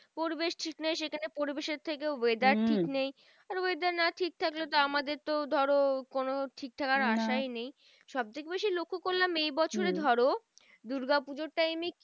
পরিবেশ ঠিক নেই সেখানে পরিবেশের থেকেও weather ঠিক নেই। আর weather না ঠিক থাকলে তো আমাদের তো ধরো কোনো ঠিক থাকার আসাই নেই। সবথেকে বেশি লক্ষ্য করলাম এই বছরে ধরো দূর্গা পুজোর time এ